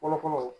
Fɔlɔ fɔlɔ